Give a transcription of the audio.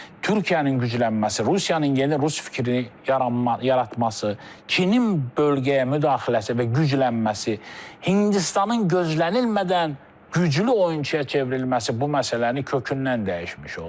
Türkiyənin güclənməsi, Rusiyanın yeni rus fikirini yaranması, Çinin bölgəyə müdaxiləsi və güclənməsi, Hindistanın gözlənilmədən güclü oyunçuya çevrilməsi bu məsələni kökündən dəyişmiş oldu.